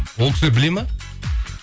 ол кісілер біледі ме